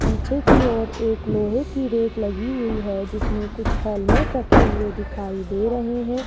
पीछे की ओर एक लोहे की रैक लगी हुई है जिसमें कुछ हेलमेट रखे हुए दिखाई दे रहे हैं।